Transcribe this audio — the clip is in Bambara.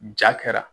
Ja kɛra